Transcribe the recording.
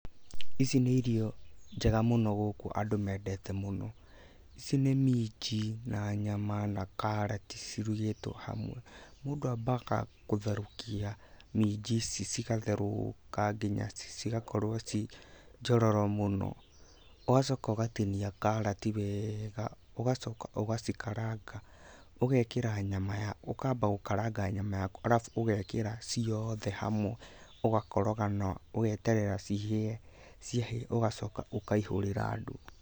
Ici nĩ irio njega mũno gũkũ andũ mendete mũno. Ici nĩ minji na nyama na karati cirugĩtwo hamwe. Mũndũ ambaga gũtherũkia minji ici cigatherũũka nginya cigakorwo ci njororo mũno, ũgacoka ũgatinia karati weega, ũgacoka ũgacikaranga, ũgekĩra nyama, ũkamba gũkaranga nyama yaku, arabu ũgekĩra ciothe hamwe ũgakoroga na ũgeterera cihĩe, ciahĩa ũgacoka ũkaihũrĩra andu.